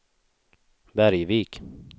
Bergvik